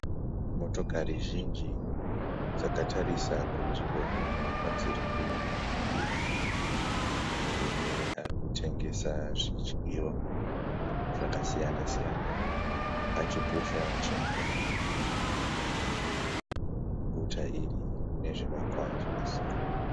Motikari zhinji dzakatarisa kunzvimbo imwe kwadziri kuenda, murume arikutengesa zvidyiwa zvakasiyana siyana achipusha chingoro, muguta iri mune zvivakwa zvakasiyana.